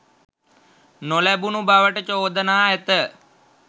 නොලැබුණු බවට චෝදනා ඇත